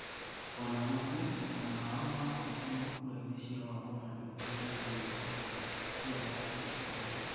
Ona ũguo, mwena wao niwahotirwo kuraini cia wamũrani uhoroini wigie katiba iyo ya tariki 4.